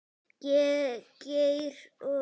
Geir og Irma.